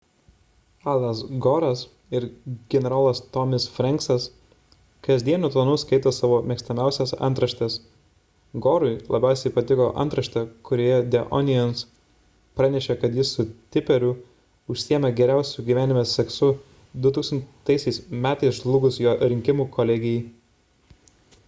alas gore'as ir generolas tommy's franksas kasdieniu tonu skaito savo mėgstamiausias antraštes gore'ui labiausiai patiko antraštė kurioje the onions pranešė kad jis su tipperiu užsiėmė geriausiu gyvenime seksu 2000 m. žlugus jo rinkimų kolegijai